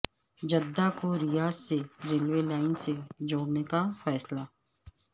Jeddah کو Riyadh سے railway line سے جوڑنے کا فیصلہ